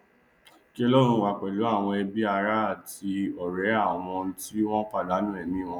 kí ọlọrun wà pẹlú àwọn ẹbí ará àti ọrẹ àwọn tí wọn pàdánù ẹmí wọn